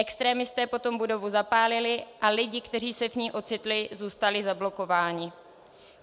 Extremisté potom budovu zapálili a lidé, kteří se v ní ocitli, zůstali zablokováni.